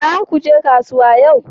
Zakaje kasuwa yau?